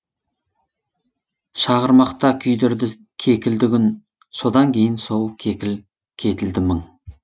шағырмақта күйдірді кекілді күн содан кейін сол кекіл кетілді мың